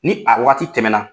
Ni a waati tɛmɛna.